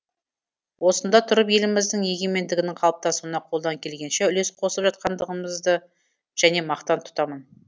осында тұрып еліміздің егемендігінің қалыптасуына қолдан келгенше үлес қосып жатқандығымызды және мақтан тұтамын